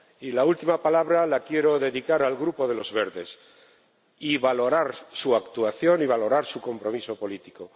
Y la última palabra la quiero dedicar al Grupo de los Verdes, y valorar su actuación y valorar su compromiso político.